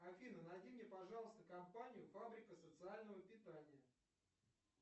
афина найди мне пожалуйста компанию фабрика социального питания